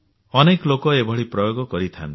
ଅନେକ ଲୋକ ଏଭଳି ପ୍ରୟୋଗ କରିଛନ୍ତି